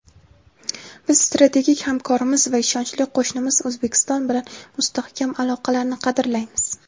Biz strategik hamkorimiz va ishonchli qo‘shnimiz O‘zbekiston bilan mustahkam aloqalarni qadrlaymiz.